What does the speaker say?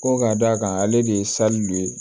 Ko ka d'a kan ale de ye dɔ ye